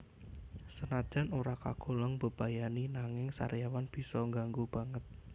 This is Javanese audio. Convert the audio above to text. Senajan ora kagolong mbebayani nanging sariawan bisa ngganggu banget